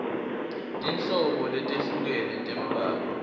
tinhlobo letehlukene tembhalo